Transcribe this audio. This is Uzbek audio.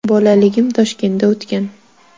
Bolaligim Toshkentda o‘tgan.